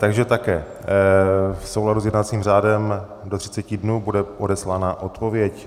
Takže také - v souladu s jednacím řádem do 30 dnů bude odeslána odpověď.